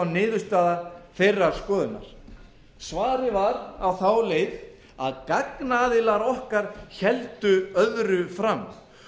niðurstaða þeirrar skoðunar svarið var á þá leið að gagnaðilar okkar héldu öðru fram